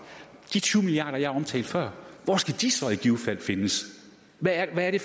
de tyve milliard kr jeg omtalte før hvor skal de så i givet fald findes hvad er det